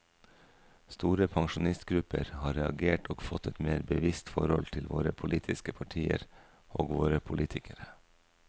Store pensjonistgrupper har reagert og fått et mer bevisst forhold til våre politiske partier og våre politikere.